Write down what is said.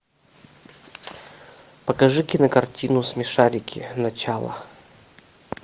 покажи кинокартину смешарики начало